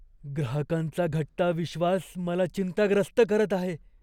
ग्राहकांचा घटता विश्वास मला चिंताग्रस्त करत आहे.